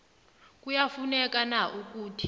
kuyafuneka na ukuthi